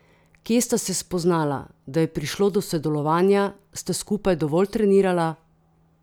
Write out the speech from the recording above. Kje sta se spoznala, da je prišlo do sodelovanja, sta skupaj dovolj trenirala?